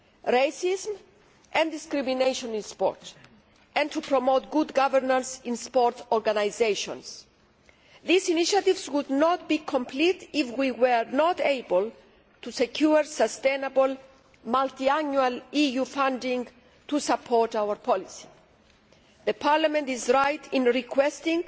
racism and discrimination in sport and to promote good governance in sports organisations. These initiatives would not be complete if we were not able to secure sustainable multiannual EU funding to support our policy. Parliament is right in requesting